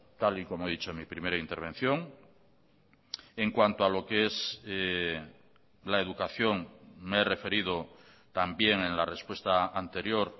tal y como he dicho en mi primera intervención en cuanto a lo que es la educación me he referido también en la respuesta anterior